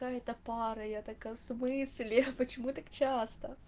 да это пара я такая в смысле почему так часто